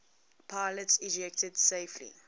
pilots ejected safely